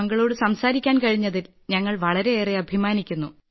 താങ്കളോട് സംസാരിക്കാൻ കഴിഞ്ഞതിൽ ഞങ്ങൾ വളരെയേറെ അഭിമാനിക്കുന്നു